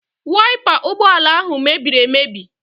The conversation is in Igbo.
Waipa ụgbọala ahụ mebiri emebi.